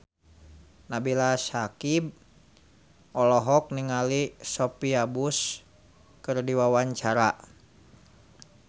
Nabila Syakieb olohok ningali Sophia Bush keur diwawancara